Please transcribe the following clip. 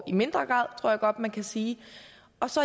i mindre grad tror jeg godt man kan sige